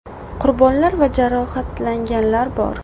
Qurbonlar va jarohatlanganlar bor.